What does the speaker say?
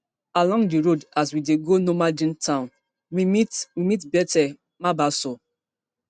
along di road as we dey go normandein town we meet we meet bethuel mabaso